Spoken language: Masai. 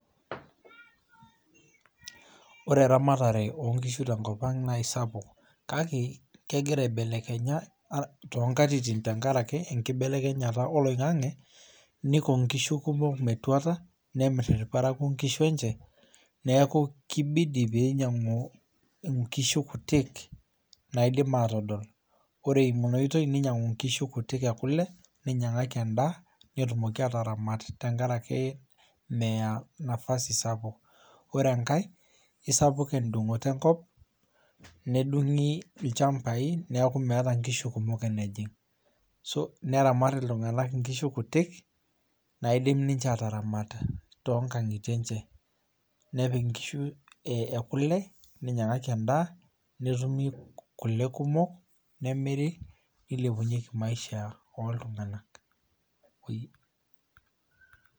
Ore eramatare onkishu tenkopang naa isapuk kake kegira aibelekenya toonkatitin tenkaraki enkibelekenyata oloingange , niko inkishu metuata , nemir irprakwo inkishu , neku kibidi pinyiangu nkishu kutik naidim atodol ,ore inaotoi ninyingu nkishu ekule , ninyangaki endaa , netumoki ataramat tenkaraki meya nafasi sapuk . Ore enkae isapuk endungoto enkop , nedungi ilchmabai neku meta nkishu kumok enejing .